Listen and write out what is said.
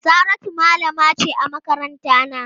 Saratu malama ce a makarantana.